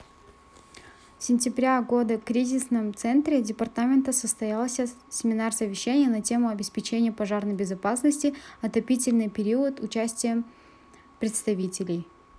сентября года кризисном центре департамента состоялся семинар-совещание на тему обеспечение пожарной безопасности отопительный период участием представителей